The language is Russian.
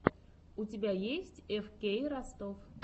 у тебя есть эфкей ростов